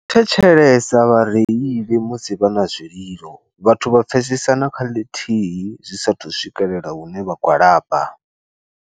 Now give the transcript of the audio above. Thetshelesa vhareili musi vha na zwililo, vhathu vha pfesesana kha ḽithihi zwisathu swikelela hune vha gwalaba.